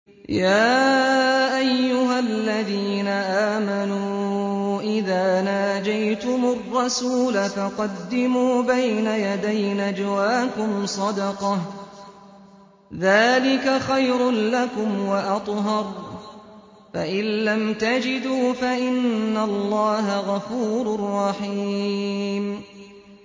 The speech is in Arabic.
يَا أَيُّهَا الَّذِينَ آمَنُوا إِذَا نَاجَيْتُمُ الرَّسُولَ فَقَدِّمُوا بَيْنَ يَدَيْ نَجْوَاكُمْ صَدَقَةً ۚ ذَٰلِكَ خَيْرٌ لَّكُمْ وَأَطْهَرُ ۚ فَإِن لَّمْ تَجِدُوا فَإِنَّ اللَّهَ غَفُورٌ رَّحِيمٌ